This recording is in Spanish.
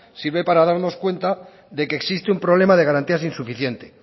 sirve para darnos cuenta de que existe un problema de garantías insuficiente